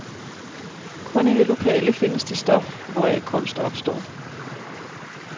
Kun i det lokale findes det stof, hvoraf kunst opstår.